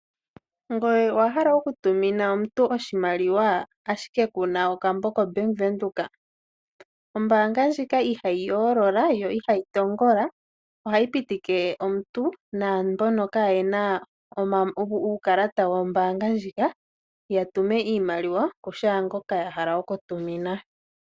Ngoye owa hala okutumina omuntu oshimaliwa, ashike ku na okambo koBank Windhoek. Ombaanga ndjika ihayi yoolola yo ihayi tongola ohayi pitike omuntu naa mbono kaa ye na uukalata wombaanga ndjika ya tume iimaliwa kushaangoka a hala okutumina.